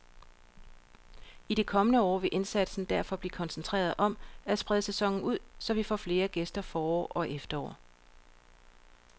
I de kommende år vil indsatsen derfor blive koncentreret om at sprede sæsonen ud, så vi får flere gæster forår og efterår.